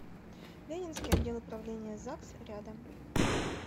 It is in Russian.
ленинский отдел управления загс рядом